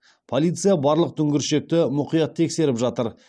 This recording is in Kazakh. полиция барлық дүңгіршекті мұқият тексеріп жатыр